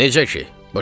Necə ki?